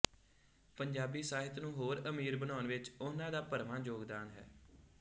ਪੰਜਾਬੀ ਸਾਹਿਤ ਨੂੰ ਹੋਰ ਅਮੀਰ ਬਣਾਉਣ ਵਿੱਚ ਉਹਨਾਂ ਦਾ ਭਰਵਾਂ ਯੋਗਦਾਨ ਹੈ